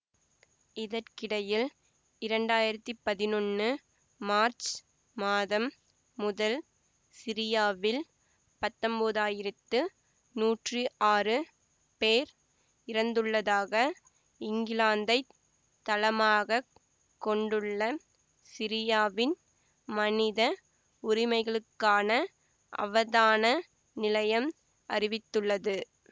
இதற்கிடையில் இரண்டாயிரத்தி பதினொன்னு மார்ச் மாதம் முதல் சிரியாவில் பத்தொன்பதாயிரத்து நூற்றி ஆறு பேர் இறந்துள்ளதாக இங்கிலாந்தைத் தளமாக கொண்டுள்ள சிரியாவின் மனித உரிமைகளுக்கான அவதான நிலையம் அறிவித்துள்ளது